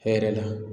Hɛrɛ la